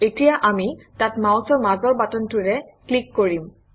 এতিয়া আমি তাত মাউচৰ মাজৰ বাটনটোৰে ক্লিক কৰিম